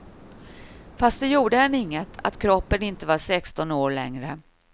Fast det gjorde henne inget, att kroppen inte var sexton år längre.